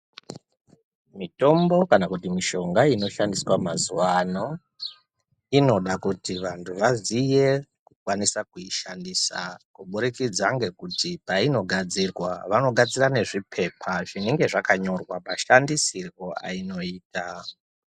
Mitombo kana mushonga inoshandiswa mazuwano inoda kuti vanhu vaziye kukwanisa kuishandisa kubudikidza nekuti painogadzirwa vanogadzira nezvipepa zvinenge zvakanyorwa mashandisirwo ainoitwa.